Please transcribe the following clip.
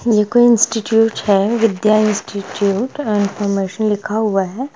ये कोई इंस्टिट्यूट हैविध्या इंस्टिट्यूट इन्फॉर्मेशन लिखा हुआ है ।